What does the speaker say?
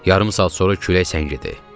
Yarım saat sonra külək səngidi.